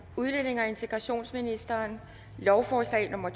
udlændinge og integrationsministeren lovforslag nummer